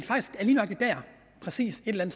der præcist et eller